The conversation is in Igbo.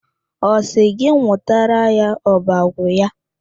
Ọ sị gị nwụtara ya ọbọgwụ ya.